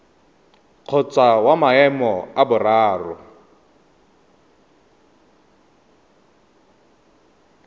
kgotsa wa maemo a boraro